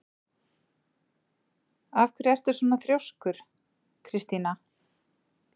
Af hverju ertu svona þrjóskur, Kristína?